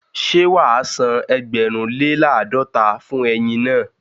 Ṣé wàá san ẹgbẹ̀rún lè làádọ́ta fún ẹyin naa?